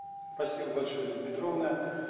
спасибо большое ирина петровна